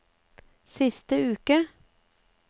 siste uke